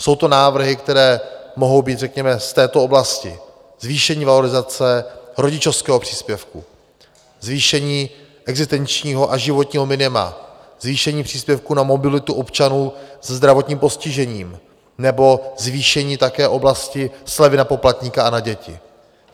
Jsou to návrhy, které mohou být řekněme z této oblasti: zvýšení valorizace rodičovského příspěvku, zvýšení existenčního a životního minima, zvýšení příspěvku na mobilitu občanů se zdravotním postižením nebo zvýšení také oblasti slevy na poplatníka a na děti.